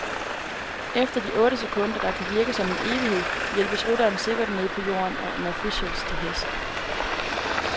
Efter de otte sekunder, der kan virke som en evighed, hjælpes rytteren sikkert ned på jorden af officials til hest.